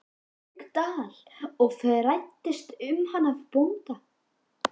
Haukadal og fræddist um hana af bónda.